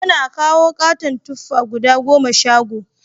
Yana kawo katon tuffa guda goma shago